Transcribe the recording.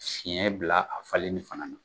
Fiɲɛ bila a falenni fana na